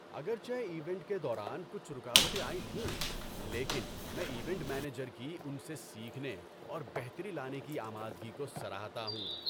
اگرچہ ایونٹ کے دوران کچھ رکاوٹیں آئی تھیں، لیکن میں ایونٹ مینیجر کی ان سے سیکھنے اور بہتری لانے کی آمادگی کو سراہتا ہوں۔